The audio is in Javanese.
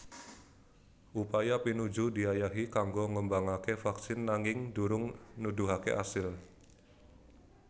Upaya pinuju diayahi kanggo ngembangaké vaksin nanging durung nuduhaké asil